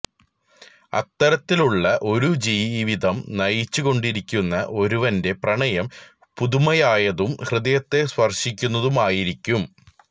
അത്തരത്തിലുള്ള ഒരു ജീവിതം നയിച്ചു കൊണ്ടിരിക്കുന്ന ഒരുവന്റെ പ്രണയം പുതുമയായതും ഹൃദയത്തെ സ്പർശിക്കുന്നതുമായിരിക്കും